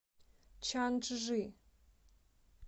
чанчжи